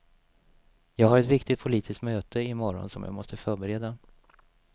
Jag har ett viktigt politiskt möte i morgon som jag måste förbereda.